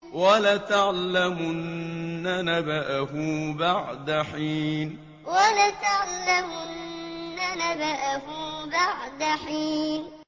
وَلَتَعْلَمُنَّ نَبَأَهُ بَعْدَ حِينٍ وَلَتَعْلَمُنَّ نَبَأَهُ بَعْدَ حِينٍ